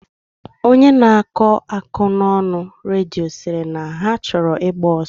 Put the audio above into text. Onye na akọ akụkọna redio, siri na ha choro igba oso.